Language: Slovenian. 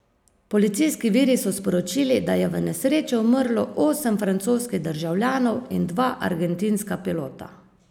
Policijski viri so sporočili, da je v nesreči umrlo osem francoskih državljanov in dva argentinska pilota.